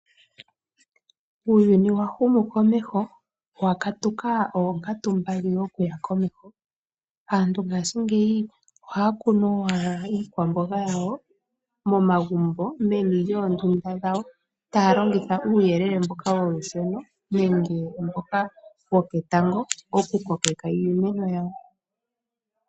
Uuyuni wahumu komeho , wakatuka onkatu mbali dhokuya komeho, aantu ngashi ngeyi ohakunu owala iikwambonga yawo momagumbo menu lyondunda dhawo talongitha uyelele mboka wolusheno nenge mboka woketango oku kokeka iimeno yawo.